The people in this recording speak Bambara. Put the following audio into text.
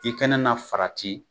I kɛnɛ na farati